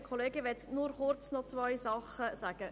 Ich möchte nur kurz noch zwei Sachen sagen.